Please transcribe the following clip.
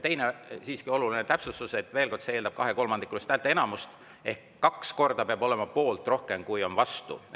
Teiseks siiski oluline täpsustus, veel kord, et see eeldab kahekolmandikulist häälteenamust ehk poolt peab olema kaks korda rohkem, kui on vastu.